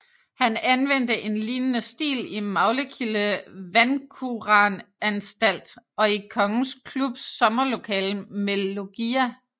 Han anvendte en lignende stil i Maglekilde Vandkuranstalt og i Kongens Klubs sommerlokale med loggia